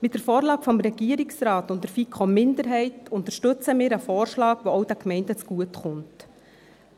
Mit der Vorlage des Regierungsrates und der FiKo-Minderheit unterstützen wir einen Vorschlag, der auch den Gemeinden zugutekommt,